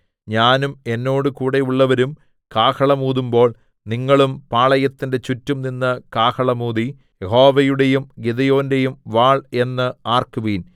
ഞാനും എന്നോടുകൂടെയുള്ളവരും കാഹളം ഊതുമ്പോൾ നിങ്ങളും പാളയത്തിന്റെ ചുറ്റും നിന്ന് കാഹളം ഊതി യഹോവയുടെയും ഗിദെയോന്റെയും വാൾ എന്ന് ആർക്കുവിൻ